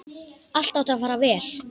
Allt átti að fara vel.